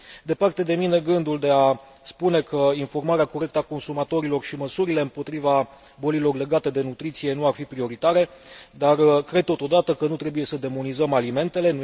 Departe de mine gândul de a spune că informarea corectă a consumatorilor și măsurile împotriva bolilor legate de nutriție nu ar fi prioritare, dar cred totodată că nu trebuie să demonizăm alimentele.